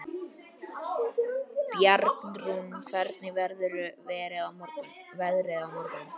Bjarnrún, hvernig verður veðrið á morgun?